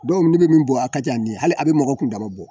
Dɔw ni bɛ min bɔ a ka jan nin hali a bɛ mɔgɔ kundama bɔ!